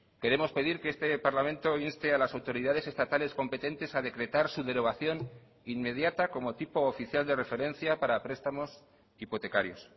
queremos pedir que este parlamento inste a las autoridades estatales competentes a decretar su derogación inmediata como tipo oficial de referencia para prestamos hipotecarios